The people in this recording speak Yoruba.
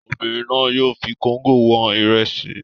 Obìnrin náà yóò fi kóńgò wọn ìrẹsì.